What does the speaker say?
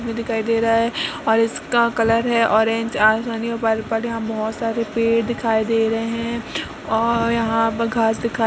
दिखाई दे रहा है और इसका कलर है ऑरेंज आसमानी पर पड़ यहाँ बोहोत सारे पेड़ दिखाई दे रहे हैं और यँहा पर घांस दिखाई --